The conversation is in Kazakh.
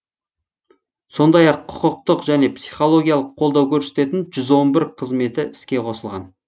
сондай ақ құқықтық және психологиялық қолдау көрсететін жүз он бір қызметі іске қосылған